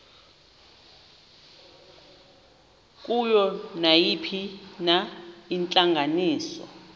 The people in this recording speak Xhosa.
kuyo nayiphina intlanganiso